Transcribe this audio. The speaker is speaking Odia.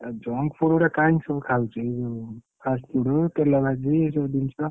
ଏ junk food ଅରା କାଇକି ସବୁ ଖାଉଛୁ? ଏ ଯୋଉ fast food ତେଲଭାଜି ଏସବୁ ଜିନିଷ।